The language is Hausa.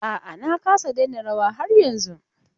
A'a na kasa daina rawa har yanzun.